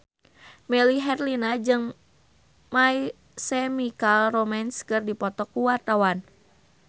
Melly Herlina jeung My Chemical Romance keur dipoto ku wartawan